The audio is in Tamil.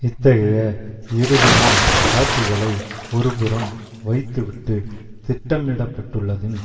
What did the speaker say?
இத்தகைய இறுதி நாள் காட்சிகளை ஒருபுறம் வைத்துவிட்டு திட்டமிடப்பட்டுள்ளதின்